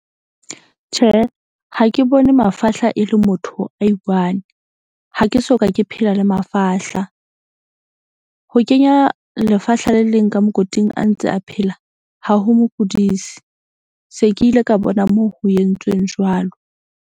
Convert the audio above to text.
Tjhe, ha ke bone mafahla e le motho a i one ha ke soka, ke phela le mafahla. Ho kenya lefahla le leng ka mokoting a ntse a phela. Ha ho mo kudisi se, ke ile ka bona moo ho entsweng jwalo.